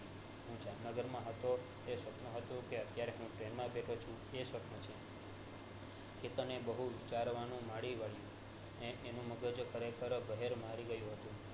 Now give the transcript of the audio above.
હું જામનગરમાં હતો એ સ્વપ્ન હતું તે અત્યારે ટ્રેન માં બેઠો છું એ સ્વપ્ન છે કેતન એ બૌ વિચાર્યું એનું મગજ ખરે ખર બહેર મારી ગયો હતો